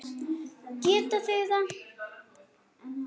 Geti þeir það?